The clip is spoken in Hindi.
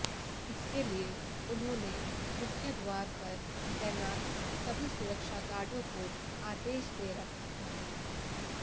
इसके लिए उन्होने मुख्य द्वार पर तैनात सभी सुरक्षा गार्डो को आदेश दे रखा था